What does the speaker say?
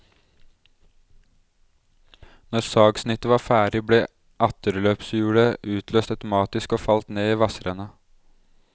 Når sagsnittet var ferdig, ble atterløpshjulet utløst automatisk og falt ned i vassrenna.